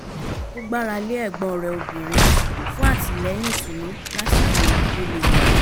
ó gbára lé ẹ̀gbọ́n rẹ̀ obìnrin fún àtìlẹ́yìn ìtùnú lásìkò ìyàn tó le